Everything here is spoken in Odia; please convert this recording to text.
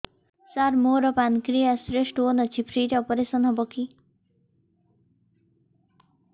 ସାର ମୋର ପାନକ୍ରିଆସ ରେ ସ୍ଟୋନ ଅଛି ଫ୍ରି ରେ ଅପେରସନ ହେବ କି